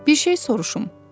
Bir şey soruşum?